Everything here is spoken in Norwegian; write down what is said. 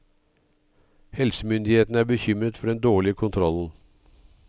Helsemyndighetene er bekymret for den dårlige kontrollen.